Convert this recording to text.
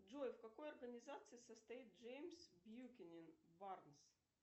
джой в какой организации состоит джеймс бьюкенен барнс